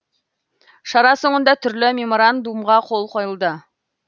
шара соңында түрлі меморандумға қол қойылды